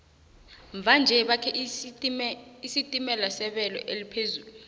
mva nje bakhe isitimela sebelo eliphezulu